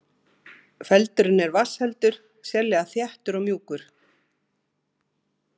Feldurinn er vatnsheldur, sérlega þéttur og mjúkur.